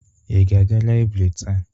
Ị ga-aga Laibri taa?